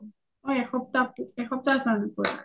অ এসপ্তাহ , এসপ্তাহ আছা পুৰা?